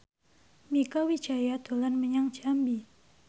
Mieke Wijaya dolan menyang Jambi